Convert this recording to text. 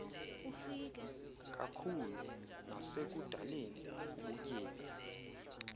kakhulu nasekudaleni ubutyebi